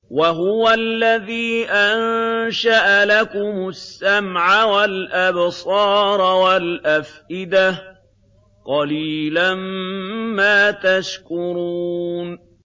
وَهُوَ الَّذِي أَنشَأَ لَكُمُ السَّمْعَ وَالْأَبْصَارَ وَالْأَفْئِدَةَ ۚ قَلِيلًا مَّا تَشْكُرُونَ